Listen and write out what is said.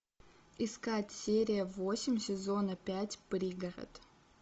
искать серия восемь сезона пять пригород